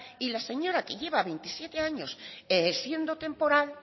y la señora que lleva veintisiete años siendo temporal